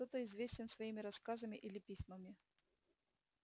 кто-то известен своими рассказами или письмами